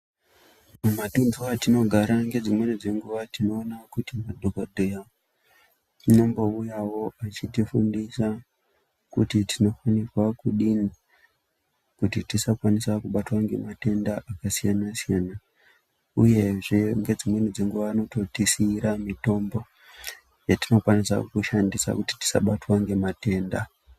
Mumatundu etinogara nedzimweni dzenguwa tinoona kuti madhogodheya anombouyawo echitifundisa kuti tinofanirwa kudini kuti tisakwanisa kubatwa ngematenda akasiyana-siyana uyehe ngedzimweni dzenguwa anototisiira mitombo yatinokwanisa kushandisa kuti tisabatwa ngematenda.